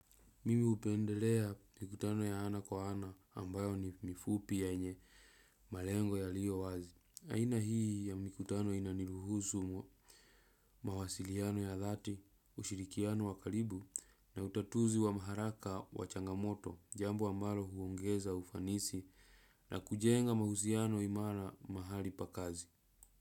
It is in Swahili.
Mimi upendelea mikutano ya ana kwa ana ambayo ni mifupi yenye malengo yaliyo wazi. Aina hii ya mikutano inaniruhusu mawasiliano ya dhati, ushirikiano wa karibu na utatuzi wa haraka wa changamoto jambo ambalo huongeza ufanisi na kujenga mahusiano imara mahali pa kazi.